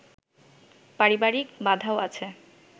পারিবারিক বাধাও আছে